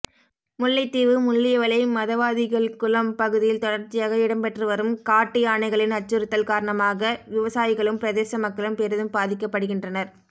முல்லைத்தீவு முள்ளியவளை மதவாதிகள்குளம் பகுதியில் தொடர்ச்சியாக இடம்பெற்றுவரும் காட்டு யானைகளின் அச்சுறுத்தல் காரணமாக விவசாயிகளும் பிரதேச மக்களும் பெரிதும் பாதிக்கப்படுகின்றனர்